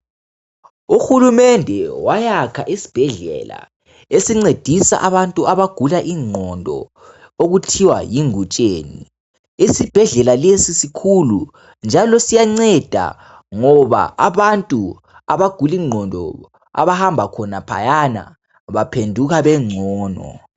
Uhulumende wayakha isibhedlela esincedisa abantu abagula ingqondo okuthiwa yingutsheni, isibhedlela lesi sikhulu njalo siyanceda ngoba abantu abagula ingqondo abahamba khonaphayana baphenduka bengcono.